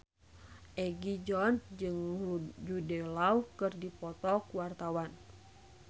Egi John jeung Jude Law keur dipoto ku wartawan